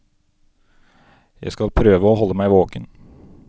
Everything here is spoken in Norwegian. Jeg skal prøve å holde meg våken.